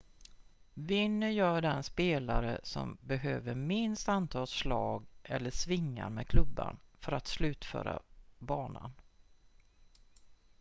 vinner gör den spelare som behöver minst antal slag eller svingar med klubban för att slutföra banan